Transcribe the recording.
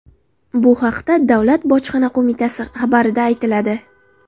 Bu haqda Davlat bojxona qo‘mitasi xabarida aytiladi .